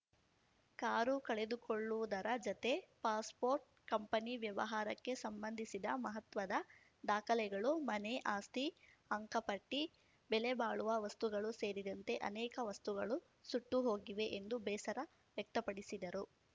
car ಕಳೆದುಕೊಳ್ಳುವುದರ ಜೊತೆ passport company ವ್ಯವಹಾರಕ್ಕೆ ಸಂಬಂಧಿಸಿದ ಮಹತ್ವದ ದಾಖಲೆಗಳು ಮನೆ ಆಸ್ತಿ ಅಂಕಪಟ್ಟಿ ಬೆಲೆಬಾಳುವ ವಸ್ತುಗಳು ಸೇರಿದಂತೆ ಅನೇಕ ವಸ್ತುಗಳು ಸುಟ್ಟು ಹೋಗಿವೆ ಎಂದು ಬೇಸರ ವ್ಯಕ್ತಪಡಿಸಿದರು